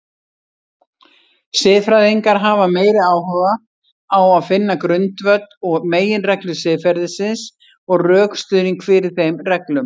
Siðfræðingar hafa meiri áhuga á finna grundvöll og meginreglur siðferðisins og rökstuðning fyrir þeim reglum.